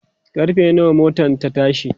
karfe nawa motan ta tashi?